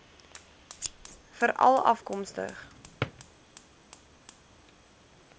veralafkomstig